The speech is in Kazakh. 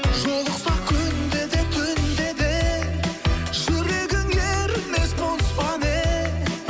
жолықсақ күнде де түнде де жүрегің ерімес мұз ба не